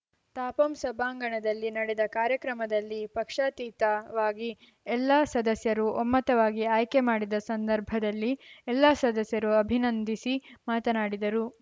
ತಾಪಂ ಸಭಾಂಗಣದಲ್ಲಿ ನಡೆದ ಕಾರ್ಯಕ್ರಮದಲ್ಲಿ ಪಕ್ಷಾತೀತವಾಗಿ ಎಲ್ಲಾ ಸದಸ್ಯರು ಒಮ್ಮತವಾಗಿ ಆಯ್ಕೆ ಮಾಡಿದ ಸಂದರ್ಭದಲ್ಲಿ ಎಲ್ಲಾ ಸದಸ್ಯರು ಅಭಿನಂದಿಸಿ ಮಾತನಾಡಿದರು